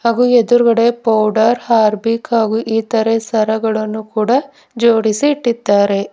ಹಾಗು ಎದ್ರುಗಡೆ powder Harpic ಹಾಗೂ ಇತರೆ ಸರಗಳನ್ನು ಕೂಡ ಜೋಡಿಸಿ ಇಟ್ಟಿದ್ದಾರೆ.